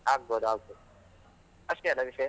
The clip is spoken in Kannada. ಆಗ್ಬೋದು ಆಗ್ಬೋದು, ಅಷ್ಟೇ ಅಲಾ ವಿಷಯ.